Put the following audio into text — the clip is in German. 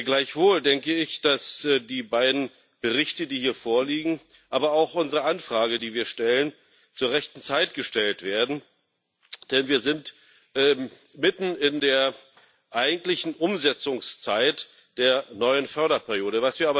Gleichwohl denke ich, dass die beiden Berichte, die hier vorliegen, aber auch unsere Anfrage, die wir stellen, zur rechten Zeit gestellt werden, denn wir sind mitten in der eigentlichen Umsetzungszeit der neuen Förderperiode.